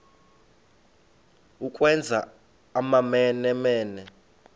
ukwenza amamene mene